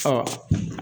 Ɔ